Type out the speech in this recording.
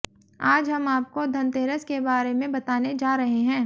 आज हम आपको धनतेरस के बारे में बताने जा रहे हैं